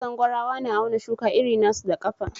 Na San gwarawa na auna shukan iri na su da kafa.